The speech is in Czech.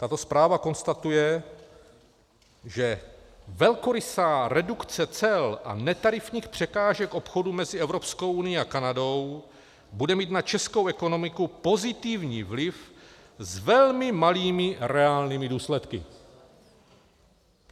Tato zpráva konstatuje, že velkorysá redukce cel a netarifních překážek obchodu mezi Evropskou unií a Kanadou bude mít na českou ekonomiku pozitivní vliv s velmi malými reálnými důsledky.